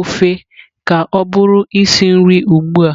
ofe ka ọ bụrụ isi nri ugbu a.